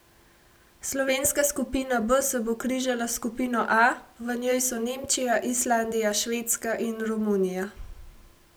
Slovenska skupina B se bo križala s skupino A, v njej so Nemčija, Islandija, Švedska in Romunija.